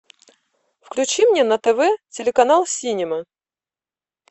включи мне на тв телеканал синема